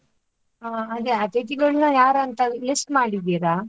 ಹಾ ಅದೇ ಅತಿಥಿಗಳನ್ನ ಯಾರಂತ list ಮಾಡಿದ್ದೀರ?